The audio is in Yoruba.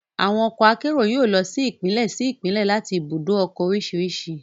Àwọn ọkọ akérò yóò lọ sí Ìpínlẹ̀ sí Ìpínlẹ̀ láti ibùdó ọkọ̀ oríṣiríṣi